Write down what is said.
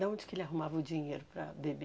De onde que ele arrumava o dinheiro para beber?